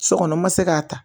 Sokɔnɔ ma se k'a ta